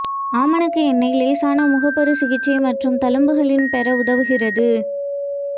ஆமணக்கு எண்ணெய் லேசான முகப்பரு சிகிச்சை மற்றும் தழும்புகளின் பெற உதவுகிறது